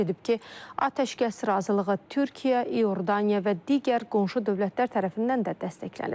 Qeyd edib ki, atəşkəs razılığı Türkiyə, İordaniya və digər qonşu dövlətlər tərəfindən də dəstəklənib.